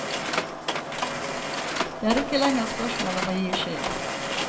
Det er ikke lenger spørsmål om å gi skyld.